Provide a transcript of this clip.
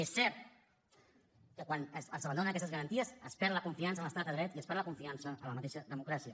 és cert que quan s’abandonen aquestes garanties es perd la confiança en l’estat de dret i es perd la confiança en la mateixa democràcia